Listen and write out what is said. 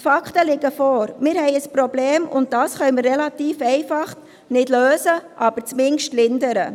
Die Fakten liegen vor: Wir haben ein Problem, und dieses können wir relativ einfach zwar nicht lösen, aber zumindest lindern.